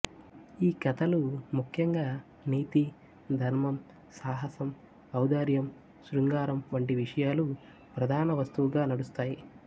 ఈ కథలు ముఖ్యంగా నీతి ధర్మం సాహసం ఔదార్యం శృంగారం వంటి విషయాలు ప్రధాన వస్తువుగా నడుస్తాయి